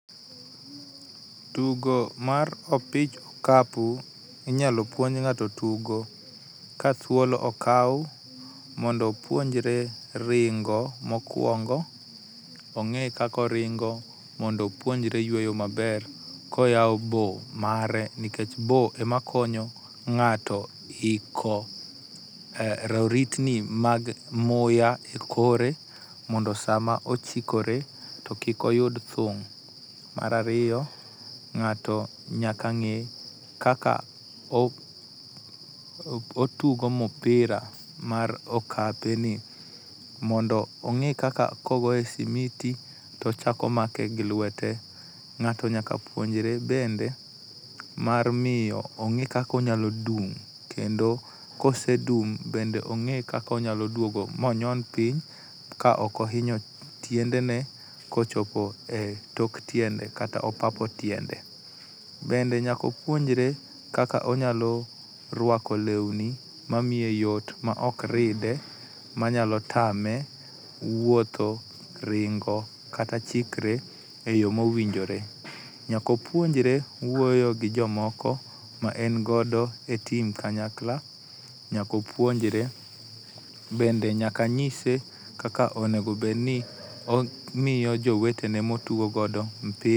Tugo mar opich okapu inyalo puonj ng'ato tugo ka thuolo okaw mondo opuonjre ringo mokuongo ong'e kaka oringo mondo opuonjre yueyo maber, koyawo boo mare nikech boo ema konyo ng'ato iko roritni mag muya ekore mondo sama ochikore to kik oyud thung'. Mar ariyo ng'ato nyaka ng'e kaka otugo mpira mar okapeni mondo ong'e kaka kogoye e simiti to ochako ogoye gi lwete. Ng'ato nyaka puonjre bende mar miyo ong'e kaka onyalo dum, kendo ka osedum bende ong'e kaka onyalo duogo ma onyon piny kaok ohinyo tiendene kochopo e tok tiende kata opapo tiende. Bende nyaka opuonjre kaka onyalo ruako lewni mamiye yot maok ride manyalo tame wuotho, ringo kata chikre eyo mowinjre. Nyaka opuonjre wuoyo gi jomoko ma en godo e tim kanyakla, nyaka opuonjre bende nyaka nyise kaka onego bedni omiyo jowetene motugo godo mpira